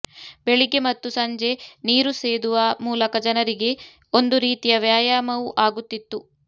ಬೆಳಿಗ್ಗೆ ಮತ್ತು ಸಂಜೆ ನೀರು ಸೇದುವ ಮೂಲಕ ಜನರಿಗೆ ಒಂದು ರೀತಿಯ ವ್ಯಾಯಾಮವೂ ಆಗುತ್ತಿತ್ತು